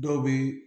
Dɔw bɛ